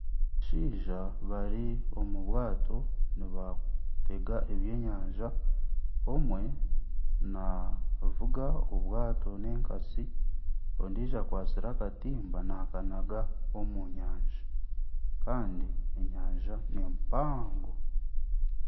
Abashaija bari omu bwaato nibatega ebyenyanja omwe navuga obwaato na enkatsi ondijo akwatsire akatimba nakanaga omu nyanja Kandi enyanja ni mpango.